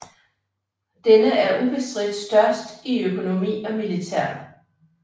Denne er ubestridt størst i økonomi og militær